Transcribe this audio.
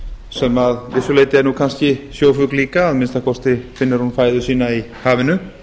sem að vissu leyti er nú kannski sjófugl líka að minnsta kosti finnur hún fæðu sína í hafinu